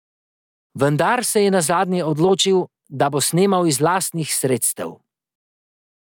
Vendar se je nazadnje odločil, da bo snemal iz lastnih sredstev.